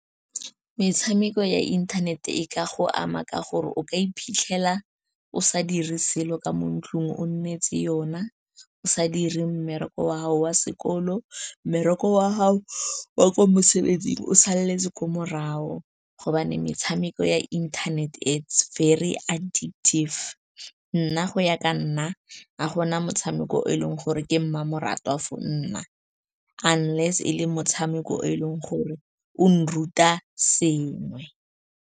Metshameko ya inthanete e ka go ama ka gore o ka iphitlhela o sa dire selo ka mo ntlong, o nnetse yona o sa dire mmereko wa gago wa sekolo, mmereko wa gago wa kwa mosebetsing o saletse kwa morago, gobane metshameko ya inthanete it's very addictive. Nna go ya ka nna, a go na motshameko o e leng gore ke mmamoratwa for nna, unless e le motshameko o e leng gore o nruta sengwe.